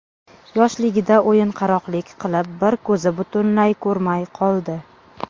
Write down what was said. Yoshligida o‘yinqaroqlik qilib, bir ko‘zi butunlay ko‘rmay qoldi.